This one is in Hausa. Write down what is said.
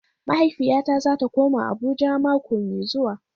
Mahaifiyata zata koma Abuja mako mai zuwa.